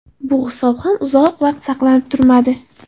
Bu hisob ham uzoq vaqt saqlanib turmadi.